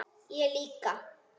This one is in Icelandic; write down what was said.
Ég líka.